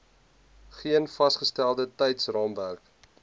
geen vasgestelde tydsraamwerk